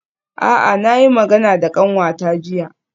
A'a na yi magana da kanwata jiya.